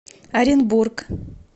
оренбург